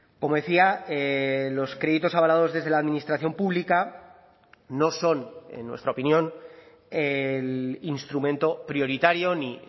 como decía los créditos avalados desde la administración pública no son en nuestra opinión el instrumento prioritario ni